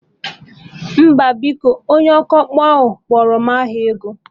Mba biko, onye ọkpụ kpọrọ m aha ego